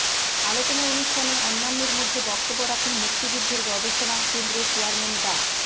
আলোচনা অনুষ্ঠানে অন্যান্যের মধ্যে বক্তব্য রাখেন মুক্তিযুদ্ধের গবেষণা কেন্দ্রের চেয়ারম্যান ডা